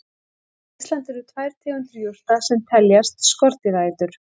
Á Íslandi eru tvær tegundir jurta sem teljast skordýraætur.